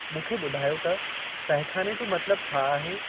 मूंखे ॿुधायो त तहखाने जो मतलबु छा आहे?